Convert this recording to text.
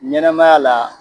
Ɲɛnɛmay la